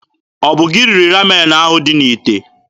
Ọ bụ gị riri Ramen ahụ dị n'ite?